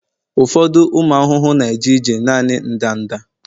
ụfọdụ ụmụ ahụhụ na-eje ije naanị ndanda